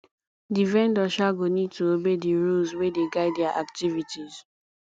di vendor um go need to obey di rules wey dey guide their activities